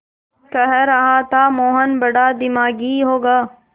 कह रहा था मोहन बड़ा दिमागी होगा